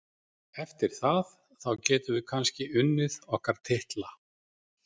Eftir það, þá getum við kannski unnið okkar titla.